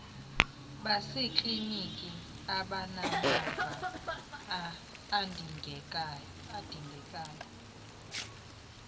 baseklinikhi abanamava adingekayo